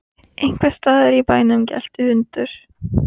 Einhvers staðar í bænum gelti hundur.